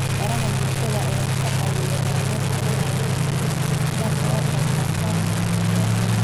Baraha bulshada ayaa ka caawiyay dhalinyarada inay si aad ah uga qayb qaataan siyaasadda.